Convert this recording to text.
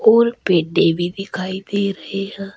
और पेडे भी दिखाई दे रहे है।